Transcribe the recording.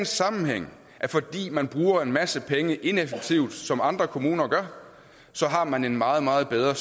sammenhæng at fordi man bruger en masse penge ineffektivt som andre kommuner gør så har man en meget meget bedre